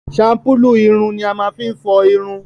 shampulu ìrùn ni a máa fi n fọ ìrùn.